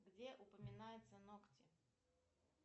где упоминается ногти